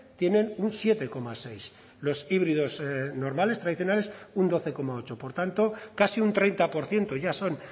tienen un siete coma seis los híbridos normales tradicionales un doce coma ocho por tanto casi un treinta por ciento ya son